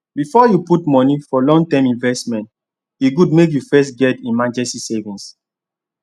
before you put money for long term investment e good make you first get emergency savings